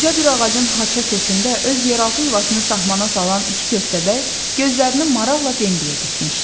Qoca bir ağacın haça kökündə öz yeraltı yuvasını saxmana salan iki köstəbək gözlərini maraqla Bembəyə dikmişdi.